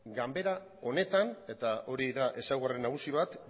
ganbara honetan eta hori da ezaugarri nagusi bat